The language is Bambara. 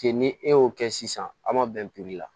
Ten ni e y'o kɛ sisan a ma bɛn la